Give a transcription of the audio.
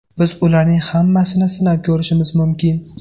Biz ularning hammasini sinab ko‘rishimiz mumkin.